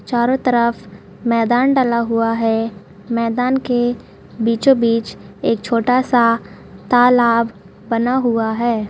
चारो तरफ मैदान डाला हुआ है मैदान के बीचो-बीच एक छोटा सा तालाब बना हुआ है।